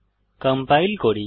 compile করি